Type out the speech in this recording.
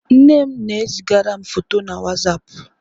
Nne m na e zigara m fọtọ na wazapụ.